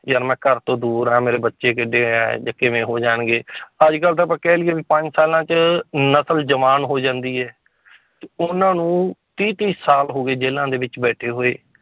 ਯਾਰ ਮੈਂ ਘਰ ਤੋਂ ਦੂਰ ਹੈ ਮੇਰੇ ਬੱਚੇ ਕਿੱਡੇ ਹੈ ਜਾਂ ਕਿਵੇਂ ਹੋ ਜਾਣਗੇ ਅੱਜ ਕੱਲ੍ਹ ਤਾਂ ਆਪਾਂ ਕਹਿ ਲਈਏ ਵੀ ਪੰਜ ਸਾਲਾਂ ਚ ਨਸ਼ਲ ਜਵਾਨ ਹੋ ਜਾਂਦੀ ਹੈ ਤੇ ਉਹਨਾਂ ਨੂੰ ਤੀਹ ਤੀਹ ਸਾਲ ਹੋ ਗਏ ਜੇਲ੍ਹਾਂ ਦੇ ਵਿੱਚ ਬੈਠੇ ਹੋਏ